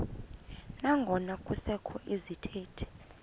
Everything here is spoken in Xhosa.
nangona kusekho izithethi